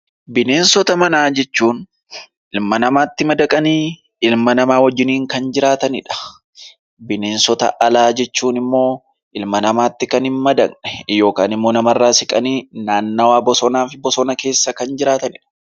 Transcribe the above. Bineensota manaa jechuun ilma namaatti madaqanii ilma namaa wajjiniin kan jiraatanidha. Bineensota alaa jechuun immoo ilma namaatti kan hin madaqne yookaan immoo namarraa siqanii naannawaa bosonaaf bosona keessa kan jiraatanidha.